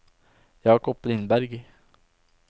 Jakob Lindberg